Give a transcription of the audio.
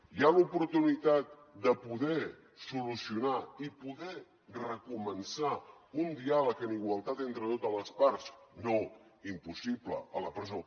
hi ha l’oportunitat de poder solucionar i poder recomençar un diàleg en igualtat entre totes les parts no impossible a la presó